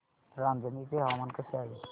रांझणी चे हवामान कसे आहे